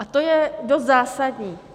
A to je dost zásadní.